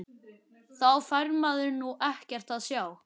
Þá fær maður nú ekkert að sjá!!